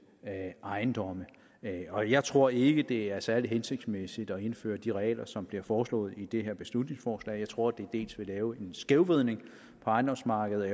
ejendomme og jeg tror ikke det er særlig hensigtsmæssigt at indføre de regler som bliver foreslået i det her beslutningsforslag jeg tror det dels vil lave en skævvridning på ejendomsmarkedet